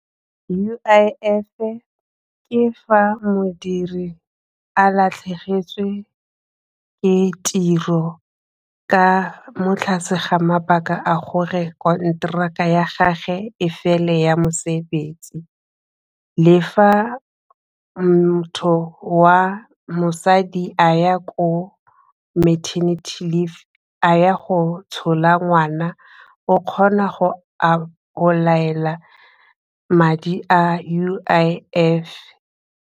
U_I_F-e ke fa modiri a latlhegetswe ke tiro ka mo tlase ga mabaka a gore konteraka ya gagwe e fele ya mosebetsi le fa motho wa mosadi a ya ko maternity leave a ya go tshola ngwana o kgona go apply-ela madi a U_I_F.